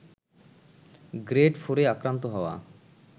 grade ফোরে আক্রান্ত হওয়া